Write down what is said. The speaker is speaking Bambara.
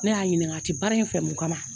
Ne y'a ɲininka a ti baara in fɛ mun kama?